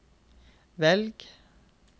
velg